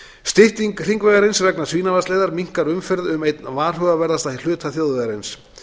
stytting hringvegarins vegna svínavatnsleiðar minnkar umferð um einn varhugaverðasta hluta þjóðvegarins